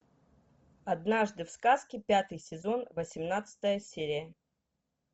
однажды в сказке пятый сезон восемнадцатая серия